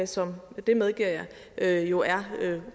som det medgiver jeg jo er